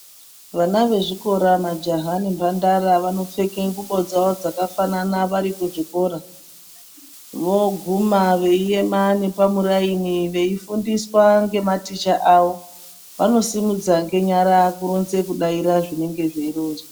Vana vezvikora majaha nemhandara vanopfeke ngubo dzavo dzakafanana vari kuzvikora. Voguma veiema nepamuraini veifundiswa ngematicha avo vanosimudza ngenyara kudaira zvinonga zveironzwa.